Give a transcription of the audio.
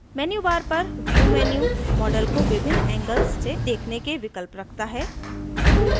menu bar पर view menu model को विभिन्न angles से देखने के विकल्प रखता है